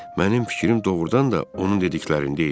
Mənim fikrim doğrudan da onun dediklərində idi.